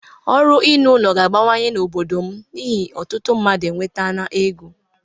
Ọrụ ịrụ ụlọ ga-abawanye n'obodo m n'ihi na ọtụtụ mmadụ enwetala ego.